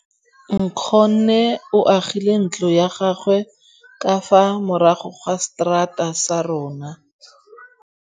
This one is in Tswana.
Nkgonne o agile ntlo ya gagwe ka fa morago ga seterata sa rona.